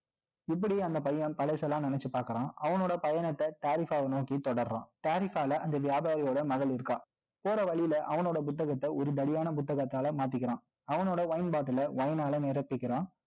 இப்படி அந்த பையன் தலைசெல்லாம் நினைச்சு பார்க்கிறான். அவனோட பயணத்தை, tarifa நோக்கி தொடர்றான். தாரிபாளை, அந்த வியாபாரியோட மகள் இருக்காள் போற வழியில, அவனோட புத்தகத்தை, ஒருதடியான புத்தகத்தால மாத்திக்கிறான். அவனோட wine bottle அ wine ஆல நிரப்பிக்கிறான்